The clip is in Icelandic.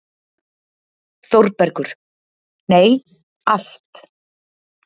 ÞÓRBERGUR: Nei, allt.